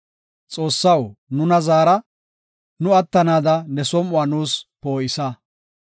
Xoossaw nuna zaara; nu attanaada ne som7uwa nuus poo7isa.